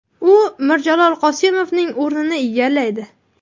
U Mirjalol Qosimovning o‘rnini egallaydi.